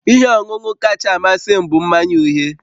Ihe ọṅụṅụ kacha amasị m bụ mmanya uhie